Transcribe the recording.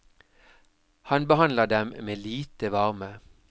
Han behandler dem med lite varme.